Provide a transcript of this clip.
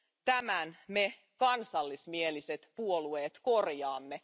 Tämän me kansallismieliset puolueet korjaamme.